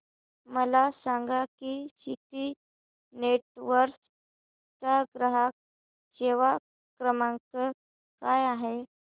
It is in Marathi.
मला सांगा की सिटी नेटवर्क्स चा ग्राहक सेवा क्रमांक काय आहे